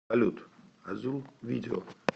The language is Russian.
салют азул видео